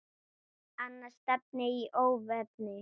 Annars stefni í óefni.